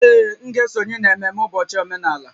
Ee, m ga-esonye na ememme ụbọchị omenala